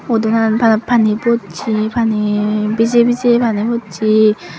udon an pani bochi pani bije bije pani bochi.